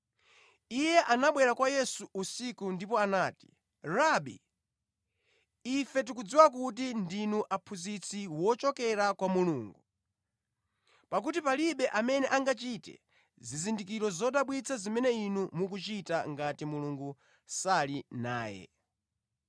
Iye anabwera kwa Yesu usiku ndipo anati, “Rabi, ife tikudziwa kuti ndinu aphunzitsi wochokera kwa Mulungu, pakuti palibe amene angachite zizindikiro zodabwitsa zimene Inu mukuchita ngati Mulungu sali naye.”